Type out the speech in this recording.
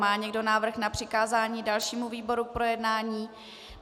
Má někdo návrh na přikázání dalšímu výboru k projednání?